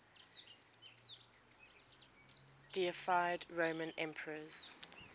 deified roman emperors